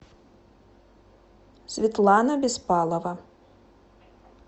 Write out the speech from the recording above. светлана беспалова